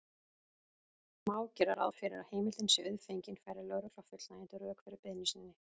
Má gera ráð fyrir að heimildin sé auðfengin færi lögregla fullnægjandi rök fyrir beiðni sinni.